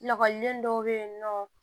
Lakɔliden dɔw bɛ yen nɔ